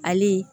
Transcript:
Ali